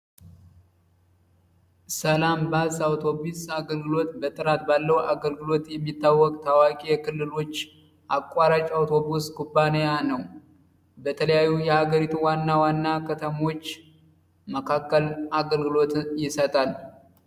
ሰላምባሰ አውቶቡስ ጥራት ያለው አገልግሎት የሚታወቅ ታዋቂ የክልሎች አቋራጭ አውቶብስ ኩባንያ ነው። ለተለያዩ የሀገሪቱ ዋና ዋና ከተሞች መካከል አገልግሎት ይሰጣል።